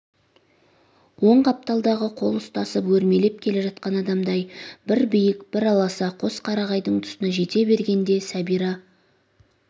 оң қапталдағы қол ұстасып өрмелеп келе жатқан адамдай бір биік бір аласа қос қарағайдың тұсына жете бергенде сәбира